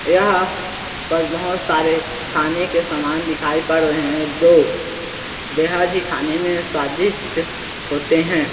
यहाँ बदमाश सारे खाने के सामान दिखाई पड़ रहै है जो बेहद ही खाने में स्वादिष्ट होते हैं।